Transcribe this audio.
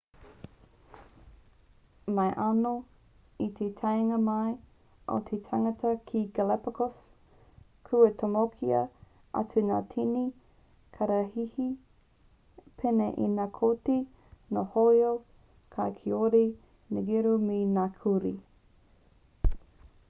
mai anō i te taenga mai o te tangata ki galapagos kua tomokia atu ngā tini kararehe pēnei i ngā koti ngā hoiho kau kiore ngeru me ngā kurī